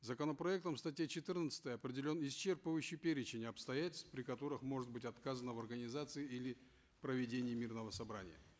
законопроектом в статье четырнадцатой определен исчерпывающий перечень обстоятельств при которых может быть отказано в организации или проведении мирного собрания